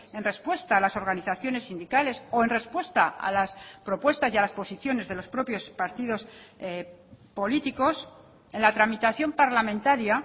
en respuesta a las organizaciones sindicales o en respuesta a las propuestas y a las posiciones de los propios partidos políticos en la tramitación parlamentaria